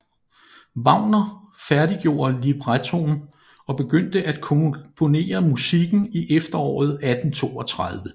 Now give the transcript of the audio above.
Wagner færdiggjorde librettoen og begyndte at komponere musikken i efteråret 1832